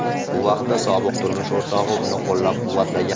Bu vaqtda sobiq turmush o‘rtog‘i uni qo‘llab-quvvatlagan.